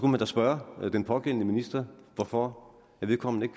man da spørge den pågældende minister hvorfor vedkommende